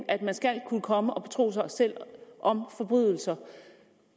at man skal kunne komme og betro sig selv om forbrydelser